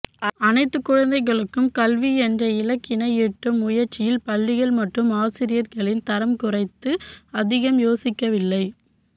அனைத்து குழந்தைகளுக்கும் கல்வி என்ற இலக்கினை எட்டும் முயற்சியில் பள்ளிகள் மற்றும் ஆசிரியர்களின் தரம் குறித்து அதிகம் யோசிக்கவில்லை